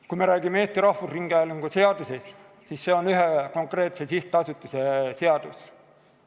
Kui me räägime Eesti Rahvusringhäälingu seadusest, siis see on ühe konkreetse sihtasutuse seadus.